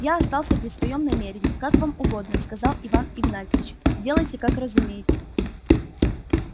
я остался при своём намерении как вам угодно сказал иван игнатьевич делайте как разумеете